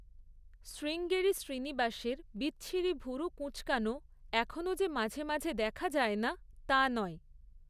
শ্রীঙ্গেরি শ্রীনিবাসের, বিচ্ছিরি ভুরু কুঁচকানো এখনও যে মাঝে মাঝে দেখা যায় না তা নয়।